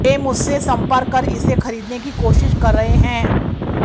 वे मुझसे संपर्क कर इसे खरीदने की कोशिश कर रहे हैं